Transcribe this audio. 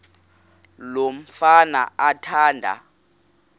lo mfana athanda